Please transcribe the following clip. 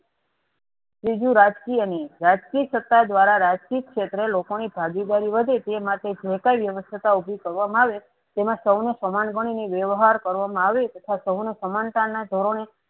ત્રીજું રાજકીય ની રાજકીય સત્તા દ્વારા સજકીય ક્ષેત્રે લોકોની ભાગીદારી વધે તે માટે જેકાંઈ વ્યવસ્થા ઉભી કરવામાં આવે તેમાં સવનું સમાન ગણીને વ્યવહાર કરવામાં આવે તથા સૌને સમાનતાના ધોરણે